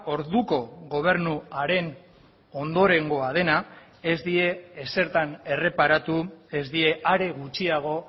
orduko gobernuaren ondorengoa dena ez die ezertan erreparatu ez die are gutxiago